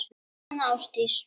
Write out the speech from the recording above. Jóhanna Ásdís.